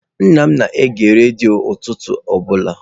Nna m na-ege redio ụtụtụ ọbụla.